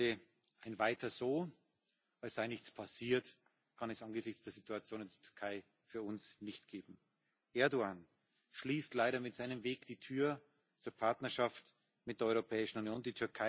Liebe Freunde, ein Weiter so, als sei nichts passiert, kann es angesichts der Situation in der Türkei für uns nicht geben. Erdoğan schließt leider mit seinem Weg die Tür zur Partnerschaft mit der Europäischen Union.